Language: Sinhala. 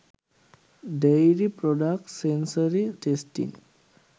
dairy products sensory testing